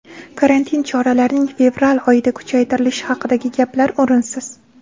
Karantin choralarining fevral oyida kuchaytirilishi haqidagi gaplar o‘rinsiz.